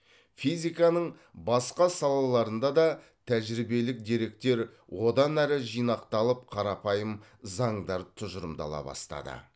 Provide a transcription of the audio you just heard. физиканың басқа салаларында да тәжірибелік деректер одан әрі жинақталып қарапайым заңдар тұжырымдала бастады